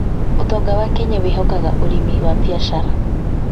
ũtonga wa Kenya wĩhokaga ũrĩmi wa biacara.